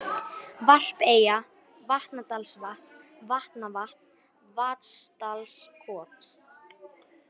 Varpeyja, Vatnadalsvatn, Vatnavatn, Vatnsdalskot